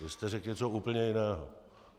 Vy jste řekl něco úplně jiného.